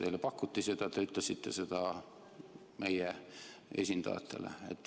Teile pakuti seda, te ütlesite seda meie esindajatele.